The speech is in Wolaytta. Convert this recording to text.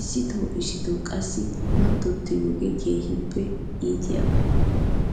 isooti isooti qassi mattotiyoogee keehippe iitiyaaba .